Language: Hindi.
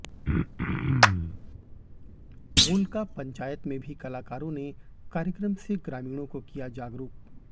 कोलका पंचायत में भी कलाकारों ने कार्यक्रम से ग्रामीणों को किया जागरूक